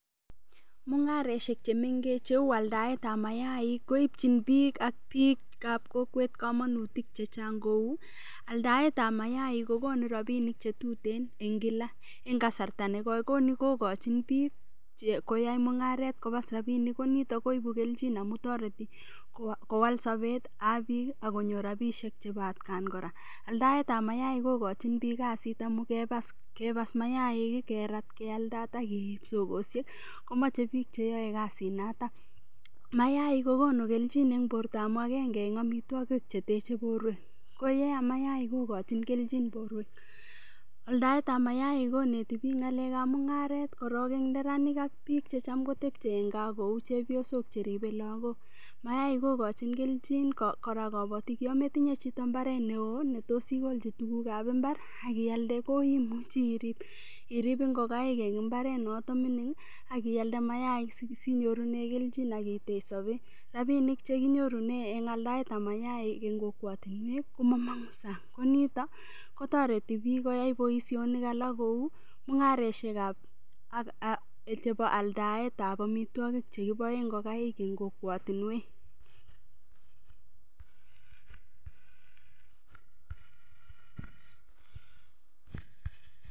Mung'areshek chemengech cheu aldaetab mayaik koipchini biik ak biikab kokwet kamanutik chechang' kou aldaetab mayaik kokonu rapinik chetutin eng' kila eng' kasarta negoi koni kokochin biik koyai mung'aret kopas rapinik konito koibu keljin amu toreti kowal sobetab biik akonyor rapishek chebo atkan kora aldaetab mayaik kokochin biik kasit amu kepas mayaik kerat kealdat ak keiib sokosiek komachei biik cheyoei kasinato mayaik kokonu keljin eng' borto amu agenge eng' omitwokik chetechei borwek koyeam mayaik kokochin keljin borwek aldaetab mayaik koneti biik ng'alekab mung'aret korok eng' neranik ak biik checham kotepchei eng' kaa kou chepyosok cheribei lagok mayaik kokochin keljin kora kabotik yo metinye chito mbaret neo netos ikolji tukukab imbar akialde koimuchi irip ngokaik eng' imbarenoto mining' akialde mayaik sinyorune keljin akitech sobet rapinik chekinyorune eng' aldaetab mayaik eng' kokwotinwek komamong'u sang' konito kotoreti biik koyai boishonik alak kou mung'areshek chebo aldaetab omitwokik chekiboe ngokaik eng' kokwotinwek